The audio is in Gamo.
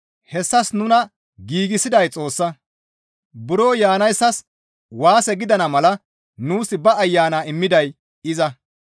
Hessas nuna giigsiday Xoossa; buro yaanayssas waase gidana mala nuus ba Ayana immiday iza.